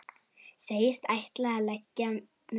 Segist ætla að leggja mig.